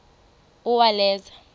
uwaleza